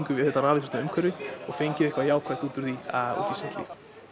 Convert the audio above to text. við þetta rafíþróttaumhverfi og fengið eitthvað jákvætt út úr því út í sitt líf